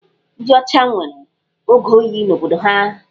Ndị ọcha nwere oge oyi n'obodo ha.